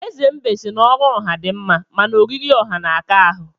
Eze mbe si na ọrụ ọha di mma, mana oriri ọha na-aka ahụ.